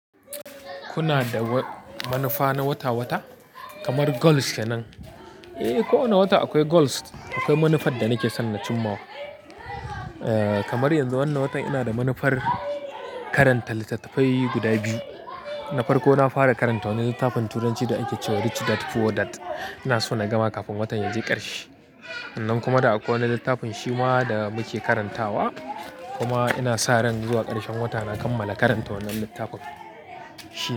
Kuna da manufa na wata-wata kamar goals kenan? Eh, ko wane wata akwai goals, akwai manufar da nake son na cimma. Kamar yanzu wannan watan ina da manufar karanta littattafai guda biyu. Na farko, na fara karanta wani littafin Turanci da ake cewa "Rich Dad Poor Dad". Ina so na gama kafin watan ya je ƙarshe. Sannan kuma da akwai wani littafin Shima da muke karantawa. Kuma ina sa ran zuwa ƙarshen wata na kammala karanta wannan littafin Shima.